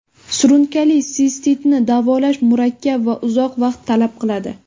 Surunkali sistitni davolash murakkab va uzoq vaqt talab qiladi.